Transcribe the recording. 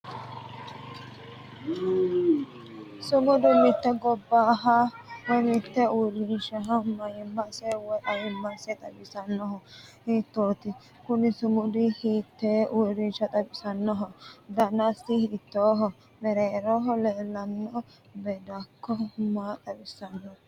sumudu mitte gobbaha woyi mitte uurrinshata mayiimmase woyi ayiimmase xawisannohu hiittoonniti? kuni sumudi hiitte uurrinsha xawisannoho? danasino hiittooho? mereeroho leeltanno beeddakko maa xawissanno?